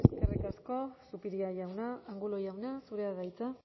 eskerrik asko zupiria jauna angulo jauna zurea da hitza